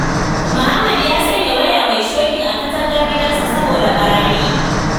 Muhammad ya sanya waya mai shokin a katangar gidansa saboda ɓarayi.